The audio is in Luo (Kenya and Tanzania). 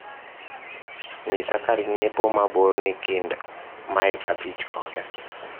nyisa kar nyiepo ma bor ni kind mail abich koda